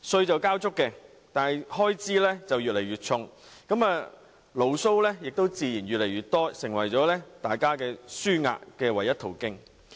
他們交足稅款，開支卻越來越大，牢騷自然也越來越多，成為他們紓壓的唯一途徑。